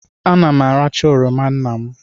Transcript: Ana m aracha oroma nna m.